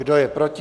Kdo je proti?